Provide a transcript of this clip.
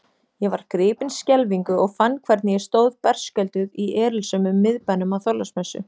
Ég var gripin skelfingu og fann hvernig ég stóð berskjölduð í erilsömum miðbænum á Þorláksmessu.